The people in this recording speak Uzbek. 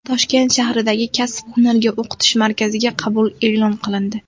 Toshkent shahridagi Kasb-hunarga o‘qitish markaziga qabul e’lon qilindi.